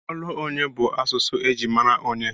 Olu onye bụ asụsụ eji mara onyé.